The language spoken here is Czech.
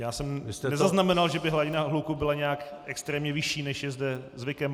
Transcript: Já jsem nezaznamenal, že by hladina hluku byla nějak extrémně vyšší, než je zde zvykem.